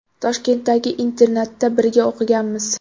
Toshkentdagi internatda birga o‘qiganmiz.